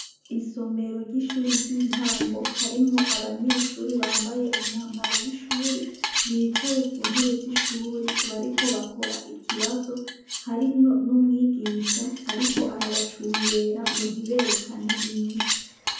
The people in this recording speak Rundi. Isomero ry'ishuri ry'intango harimwo abanyeshuri bambaye umwambaro w'ishure bicaye ku ntebe z'ishuri bariko bakora ikibazo harimwo n'umwigisha ariko arabacungera ngo ntiberekane inyishu.